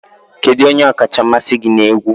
Kedu onye ọkacha mmasị gị na egwu?